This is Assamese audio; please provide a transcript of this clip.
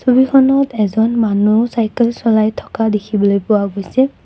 ছবিখনত এজন মানুহ চাইকেল চলাই থকা দেখিবলৈ পোৱা গৈছে।